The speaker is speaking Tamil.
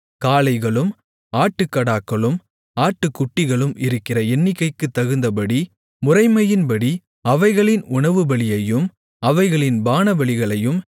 காளைகளும் ஆட்டுக்கடாக்களும் ஆட்டுக்குட்டிகளும் இருக்கிற எண்ணிக்கைக்குத் தகுந்தபடி முறைமையின்படி அவைகளின் உணவுபலியையும் அவைகளின் பானபலிகளையும்